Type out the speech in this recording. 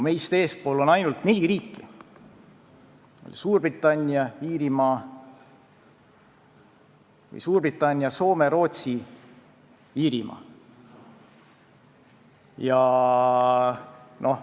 Meist eespool on ainult neli riiki: Suurbritannia, Soome, Rootsi ja Iirimaa.